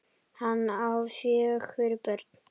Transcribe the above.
Hann á fjögur börn.